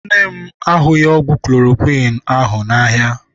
Nne m ahụghị ọgwụ klorokwiin ahụ n'ahịa.